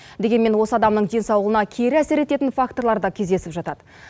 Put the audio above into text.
дегенмен осы адамның денсаулығына кері әсер ететін факторлар да кездесіп жатады